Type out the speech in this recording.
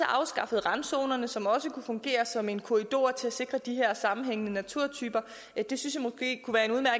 afskaffet randzonerne som også kunne fungere som en korridor til at sikre de her sammenhængende naturtyper det synes